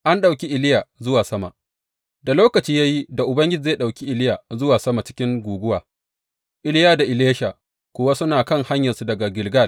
An ɗauki Iliya zuwa sama Da lokaci ya yi da Ubangiji zai ɗauki Iliya zuwa sama cikin guguwa, Iliya da Elisha kuwa suna kan hanyarsu daga Gilgal.